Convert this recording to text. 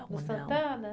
O Santana?